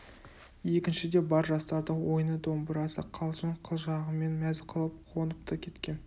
екіншіде бар жастарды ойыны домбырасы қалжың қылжағымен мәз қылып қонып та кеткен